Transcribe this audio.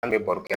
An bɛ baro kɛ